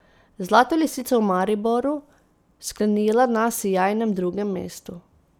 Zlato lisico v Mariboru sklenila na sijajnem drugem mestu.